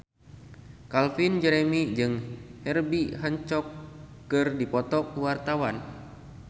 Calvin Jeremy jeung Herbie Hancock keur dipoto ku wartawan